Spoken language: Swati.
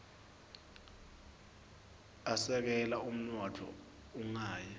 asekela umnotfo ungawi